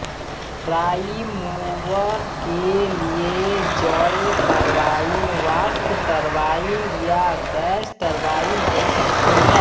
prime mover के लिये जल टर्बाइन वाष्प टर्बाइन या गैस टर्बाइन हो सकती है